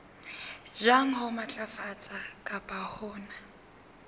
jwang ho matlafatsa kapa hona